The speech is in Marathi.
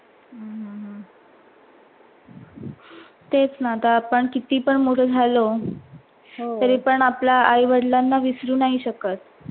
तेच ना. आता आपन कीती पण मोठ झाल तरी पण आपण आपल्याआई वडिलाना विसरु नाही शकत.